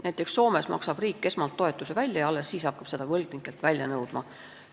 Näiteks Soomes maksab riik esmalt toetuse välja ja hakkab alles siis seda võlgnikelt välja nõudma.